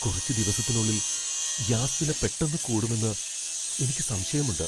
കുറച്ച് ദിവസത്തിനുള്ളിൽ ഗ്യാസ് വില പെട്ടന്ന് കൂടുമെന്ന് എനിക്ക് സംശയമുണ്ട്.